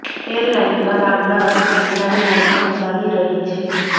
airline દ્વારા અમદાવાદથી કંડલાની ફ્લાઇટ પણ ચાલી રહી છે